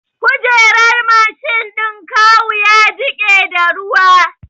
Kujerar Mashin ɗin kawu ya jiƙe da ruwa